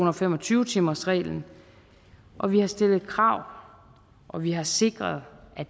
og fem og tyve timersreglen og vi har stillet krav og vi har sikret at